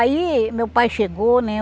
Aí, meu pai chegou, né?